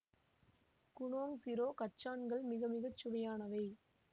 Gunung சிரோ கச்சான்கள் மிக மிக சுவையானவை